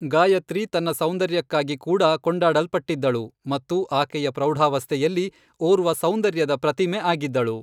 ಗಾಯತ್ರಿ ತನ್ನ ಸೌಂದರ್ಯಕ್ಕಾಗಿ ಕೂಡ ಕೊಂಡಾಡಲ್ಪಟ್ಟಿದ್ದಳು ಮತ್ತು ಆಕೆಯ ಪ್ರೌಢಾವಸ್ಥೆಯಲ್ಲಿ ಓರ್ವ ಸೌಂದರ್ಯದ ಪ್ರತಿಮೆ ಆಗಿದ್ದಳು